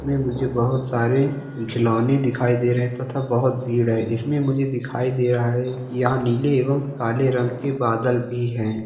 इसमें मुझे बहुत सारे खिलोने दिखाई दे रहे है तथा बहोत भीड़ है इसमें मुझे दिखाई दे रहा है यहाँ नीले एवं काले रंग के बादल भी है।